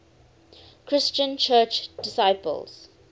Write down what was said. christian church disciples